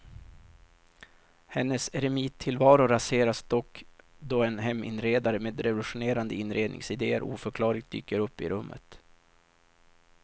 Hennes eremittillvaro raseras dock då en heminredare med revolutionerande inredningsidéer oförklarligt dyker upp i rummet.